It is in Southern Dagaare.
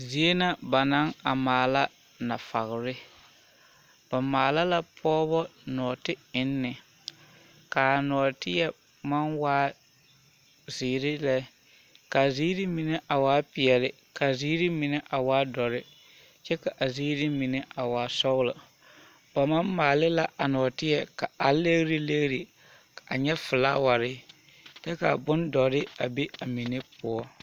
Zie na ba naŋ maala nafɔgere, ba maala la pɔgebɔ nɔɔte enne, k'a nɔɔteɛ maŋ waa zeere lɛ k'a ziiri mine a waa peɛle k'a ziiri mine a waa dɔre kyɛ ka a ziiri mine a waa sɔgelɔ, ba maŋ maale la a nɔɔteɛ ka a legiri legiri a nyɛ felaaware kyɛ k'a bondɔre a be a mine poɔ.